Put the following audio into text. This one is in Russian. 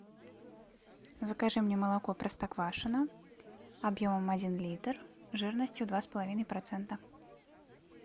закажи мне молоко простоквашино объемом один литр жирностью два с половиной процента